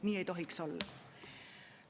Nii ei tohiks olla!